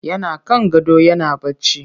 Yana kan gado yana barci